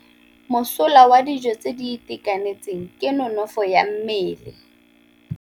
Mosola wa dijô tse di itekanetseng ke nonôfô ya mmele.